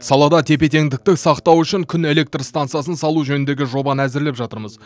салада тепе теңдікті сақтау үшін күн электр стансасын салу жөніндегі жобаны әзірлеп жатырмыз